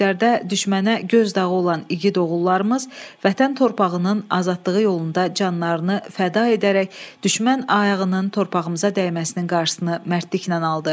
Döyüşlərdə düşmənə göz dağı olan igid oğullarımız vətən torpağının azadlığı yolunda canlarını fəda edərək düşmən ayağının torpağımıza dəyməsinin qarşısını mərdliklə aldı.